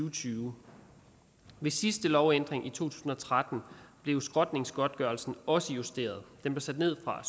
og tyve ved sidste lovændring i to tusind og tretten blev skrotningsgodtgørelsen også justeret den blev sat ned fra